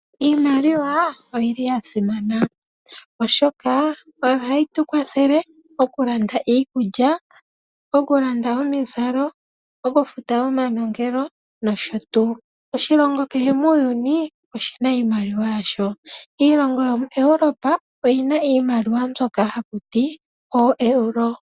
Iimaliwa oya simana oshoka oyo hayi tu kwathele okulanda iikulya, omizalo, okufuta omanongelo nosho tuu. Oshilongo kehe muuyuni oshi na iimaliwa yasho. Iilongo yomuEuropa oyi na iimaliwa mbyoka haku ti ooEuro.